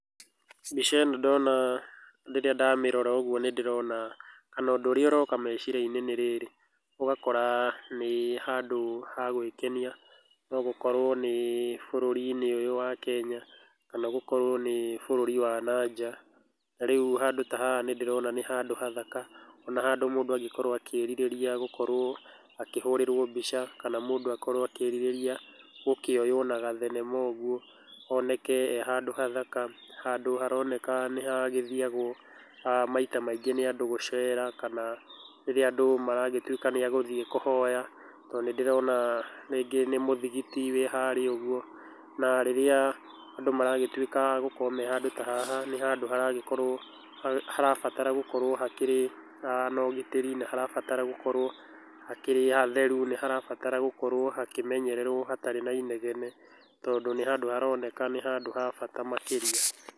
Mbica ĩno ndona, rĩrĩa ndamĩrora ũgwo nĩ ndĩrona kana ũndũ ũrĩa ũroka meciria-inĩ nĩ rĩrĩ, ũgakora nĩ handũ ha gwĩkenia, no gũkorwo nĩ bũrũri-inĩ ũyũ wa Kenya, kana gũkorwo nĩ bũrũri wa na nja, na rĩu handũ ta haha nĩ ndĩrona nĩ handũ hathaka, ona handũ mũndũ angĩkorwo akĩrirĩria gũkorwo akĩhũrĩrwo mbica, kana mũndũ akorwo akĩrirĩria gũkĩoywo na gathenema ũguo, oneke e handũ hathaka, handũ haroneka nĩ hagĩthiagwo aah maita maingĩ nĩ andũ gũcera, kana rĩrĩa andũ maragĩtwĩka nĩ agũthiĩ kũhoya, tondũ nĩ ndĩrona rĩngĩ nĩ mũthigiti wĩ harĩa ũguo, na rĩria andũ maragĩtuĩka agũkorwo me handũ ta haha, nĩ handũ haragĩkorwo, harabatara gũkorwo hakĩrĩ na ũgitĩri, nĩ harabata gũkorwo hakĩrĩ hatheru, nĩ harabatara gũkorwo hakĩmenyererwo hatarĩ na inegene, tondũ nĩ handũ haroneka nĩ handũ ha bata makĩria.